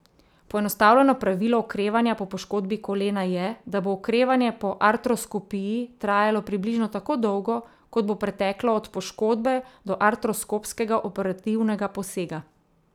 Poenostavljeno pravilo okrevanja po poškodbi kolena je, da bo okrevanje po artroskopiji trajalo približno tako dolgo, kot bo preteklo od poškodbe do artroskopskega operativnega posega.